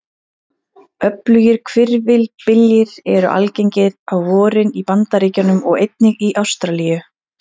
Öflugir hvirfilbyljir eru algengir á vorin í Bandaríkjunum og einnig í Ástralíu.